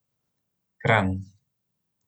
Kranj.